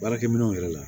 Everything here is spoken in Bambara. Baarakɛ minɛnw yɛrɛ la